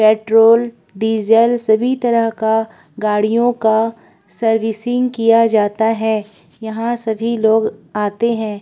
Petrol diesel सभी तरह का गाड़ियों का सर्विसिंग किया जाता है। यहाँ सभी लोग आते हैं।